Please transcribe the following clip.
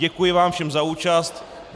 Děkuji vám všem za účast.